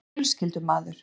Ég er fjölskyldumaður.